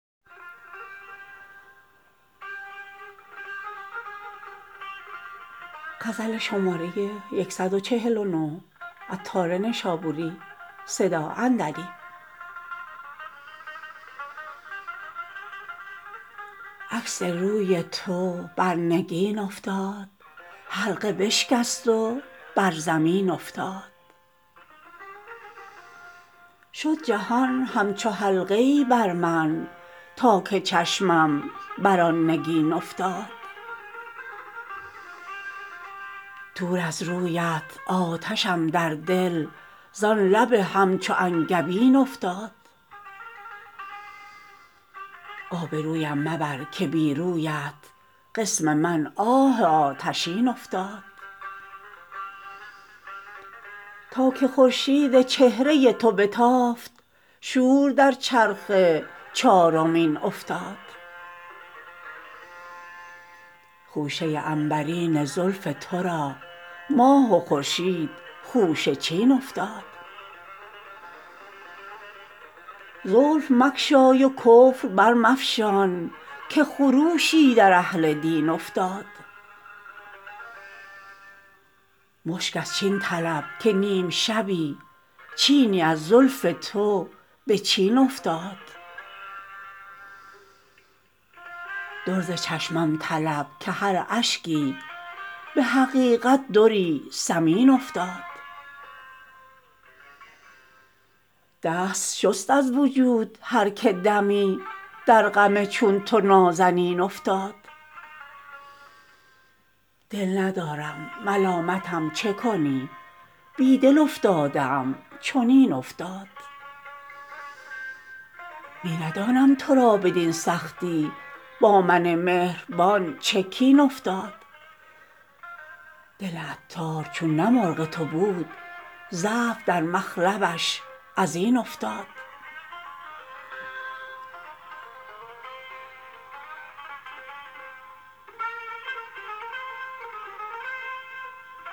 عکس روی تو بر نگین افتاد حلقه بشکست و بر زمین افتاد شد جهان همچو حلقه ای بر من تا که چشمم بر آن نگین افتاد دور از رویت آتشم در دل زان لب همچو انگبین افتاد آب رویم مبر که بی رویت قسم من آه آتشین افتاد تا که خورشید چهره تو بتافت شور در چرخ چارمین افتاد خوشه عنبرین زلف تو را ماه و خورشید خوشه چین افتاد زلف مگشای و کفر برمفشان که خروشی در اهل دین افتاد مشک از چین طلب که نیم شبی چینی از زلف تو به چین افتاد در ز چشمم طلب که هر اشکی به حقیقت دری ثمین افتاد دست شست از وجود هر که دمی در غم چون تو نازنین افتاد دل ندارم ملامتم چه کنی بی دل افتاده ام چنین افتاد می ندانم تو را بدین سختی با من مهربان چه کین افتاد دل عطار چون نه مرغ تو بود ضعف در مخلبش ازین افتاد